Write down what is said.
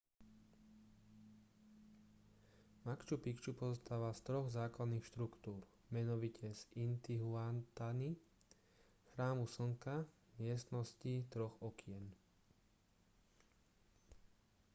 machu picchu pozostáva z troch základných štruktúr menovite z intihuatany chrámu slnka a miestnosti troch okien